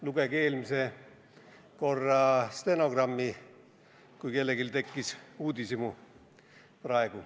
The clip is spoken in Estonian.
Lugege eelmise korra stenogrammi, kui kellelgi tekkis praegu uudishimu.